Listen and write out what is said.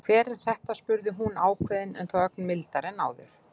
Hver er þetta? spurði hún ákveðin en þó ögn mildari en áður.